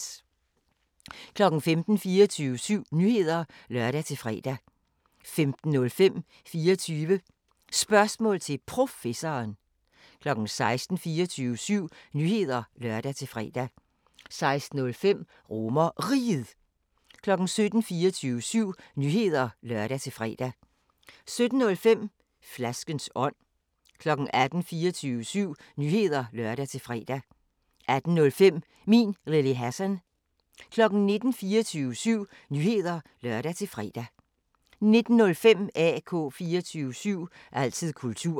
15:00: 24syv Nyheder (lør-fre) 15:05: 24 Spørgsmål til Professoren 16:00: 24syv Nyheder (lør-fre) 16:05: RomerRiget 17:00: 24syv Nyheder (lør-fre) 17:05: Flaskens ånd 18:00: 24syv Nyheder (lør-fre) 18:05: Min Lille Hassan 19:00: 24syv Nyheder (lør-fre) 19:05: AK 24syv – altid kultur